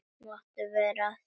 Máttu vera að því?